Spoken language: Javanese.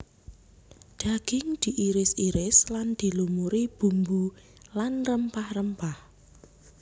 Daging diiris iris lan dilumuri bumbu lan rempah rempah